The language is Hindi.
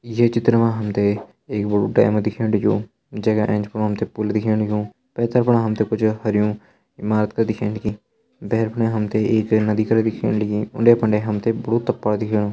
ये चित्र मा हम तें एक बड़ु डैम दिखेण लग्युं जे का एंच हम एक पुल दिखेण लग्युं पेथर फर हम तें कुछ हर्युं ईमारत दिखेण लगीभेर पण हम तें एक नदी कर दिखेण लगी उंडे फंदे हम तें बड़ु तपड़ दिखेणु ।